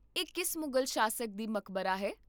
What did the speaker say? ਇਹ ਕਿਸ ਮੁਗਲ ਸ਼ਾਸਕ ਦੀ ਮਕਬਰਾ ਹੈ?